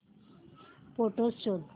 photos शोध